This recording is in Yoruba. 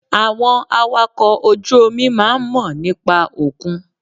Àwọn awakọ̀ ojú omi máà ń mọ̀ nípa òkun.